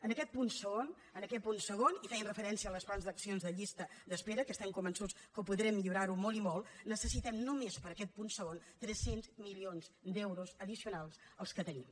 en aquest punt segon i fent referència als plans d’acció de llistes d’espera que estem convençuts que ho podrem millorar molt i molt necessitem només per a aquest punt segon tres cents milions d’euros addicionals als que tenim